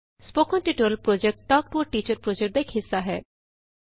spoken tutorial project talk to a teacher project ਦਾ ਇਕ ਹਿੱਸਾ ਹੈ